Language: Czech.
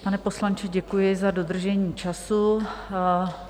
Pane poslanče, děkuji za dodržení času.